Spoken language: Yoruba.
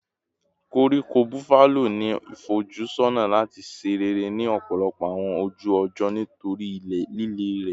Koríko Buffalo ni ifojusọna lati ṣe rere ni ọpọlọpọ awọn oju-ọjọ nitori lile rẹ